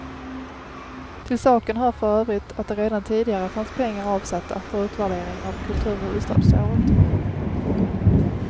Till saken hör f ö att det redan tidigare fanns pengar avsatta för utvärdering av kulturhuvudstadsåret.